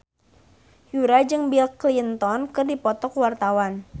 Yura jeung Bill Clinton keur dipoto ku wartawan